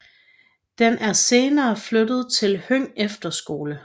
Den er senere flyttet til Høng Efterskole